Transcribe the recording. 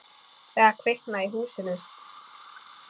Eða kviknað í húsinu.